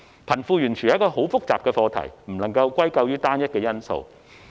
貧富懸殊是一個複雜的課題，不能歸咎於單一因素。